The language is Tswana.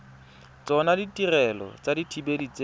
tsona ditirelo tsa dithibedi tse